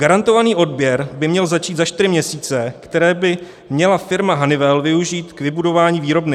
Garantovaný odběr by měl začít za čtyři měsíce, které by měla firma Honeywell využít k vybudování výrobny.